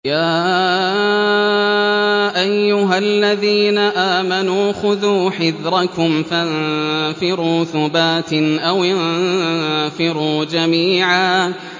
يَا أَيُّهَا الَّذِينَ آمَنُوا خُذُوا حِذْرَكُمْ فَانفِرُوا ثُبَاتٍ أَوِ انفِرُوا جَمِيعًا